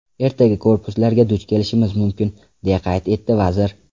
Ertaga korpuslarga duch kelishimiz mumkin”, deya qayd etdi vazir.